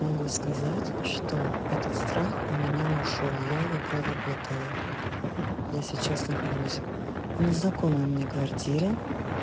могу сказать что этот страх у меня ушёл я его про работаю я сейчас нахожусь в незнакомой мне квартире